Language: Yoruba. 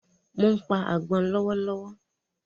Mo ń pa àgbọ̀n lọ́wọ́